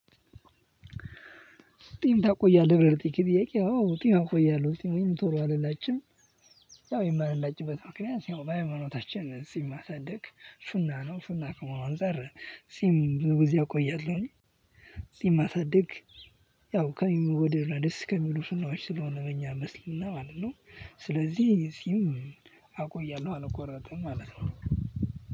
ጥም ታቆየለህ ብለህ ለጠየከኝ ጥየቄ አዎ ጥም እቆያለሁ ጥሜን ቶሎ አልላጭም የው የማልላጭበት ምክንያት በሃይማኖታችን ጽም ማሰደግ ሱና ነው ሱና ከመሆኑ አንፃር ጽም ብዙ ጊዜ እቆያለሁኝ ጽም ማሳደግ ያው ከሚወደድ እና ደስ ከሚሉ ሱናዎች ስለሆነ በእኛ እስሊምና ማለት ነው። ስለዚህ ጽም አቆያለሁ አልቆረጥም ማለት ነው።